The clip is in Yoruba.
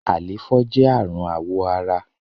àléfọ jẹ arun awọ àrà